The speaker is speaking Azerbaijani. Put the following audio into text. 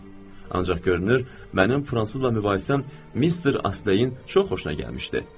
Ancaq görünür, mənim fransızla mübahisəm Mister Ostleyin çox xoşuna gəlmişdi.